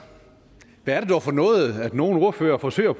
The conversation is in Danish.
hvad er det dog for noget at nogle ordførere forsøger at